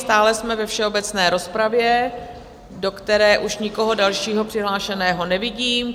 Stále jsme ve všeobecné rozpravě, do které už nikoho dalšího přihlášeného nevidím.